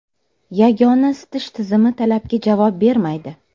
Yagona isitish tizimi talabga javob bermaydi.